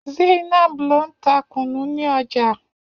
Zainab ló ń ta kunu ní ọjà.